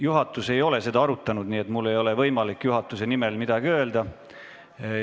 Juhatus ei ole seda arutanud, nii et mul ei ole võimalik juhatuse nimel midagi öelda.